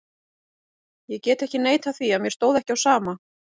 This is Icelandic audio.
Ég get ekki neitað því að mér stóð ekki á sama.